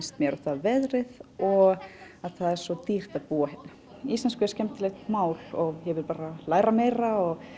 veðrið og það er svo dýrt að búa hérna íslenska er skemmtilegt mál og ég vil læra meira